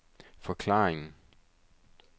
forklaringen